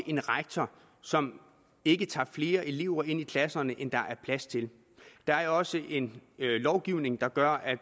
en rektor som ikke tager flere elever ind i klasserne end der er plads til der er jo også en lovgivning der gør at